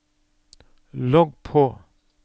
logg på